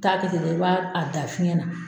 T'a kɛ ten dɛ i b'a a da fiɲɛ na.